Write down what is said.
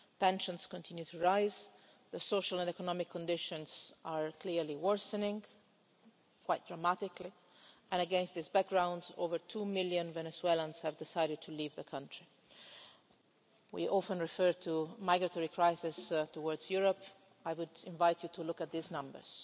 Tensions are continuing to rise, social and economic conditions are clearly worsening quite dramatically, and, against this background, over two million Venezuelans have decided to leave the country. We often refer to crises caused by migration to Europe. I would invite you to look at these numbers.